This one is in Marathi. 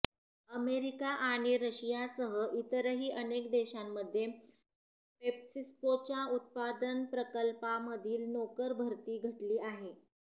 अमेरिका आणि रशियासह इतरही अनेक देशांमध्ये पेप्सिकोच्या उत्पादन प्रकल्पांमधील नोकरभरती घटली आहे